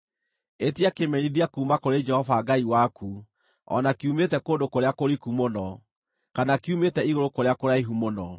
“Ĩtia kĩmenyithia kuuma kũrĩ Jehova Ngai waku, o na kiumĩte kũndũ kũrĩa kũriku mũno, kana kiumĩte igũrũ kũrĩa kũraihu mũno.”